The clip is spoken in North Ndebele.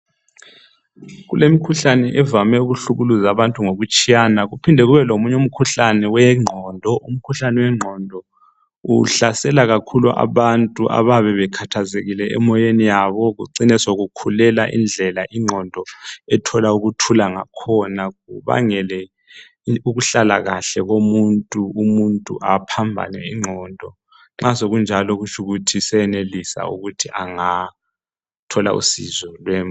Kulemikhuhlane evame ukuhlukumeza abantu ngokutshiyana kuphinde kube lemikhuhlane wengqondo. Umkhuhlanyane wengqondo uvame ukuhlukumeza abantu abayabe bekhathazekile emoyeni yabo ucine sekukhulela indlela ingqondo ethola ukuthula ngakhona ma sekunjalo sengalahlwa.